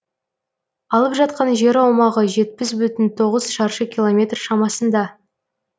алып жатқан жер аумағы жетпіс бүтін тоғыз шаршы километр шамасында